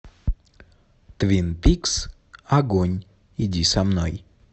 твин пикс огонь иди со мной